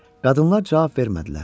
Qadınlar cavab vermədilər.